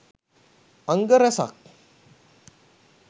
අංග රැසක්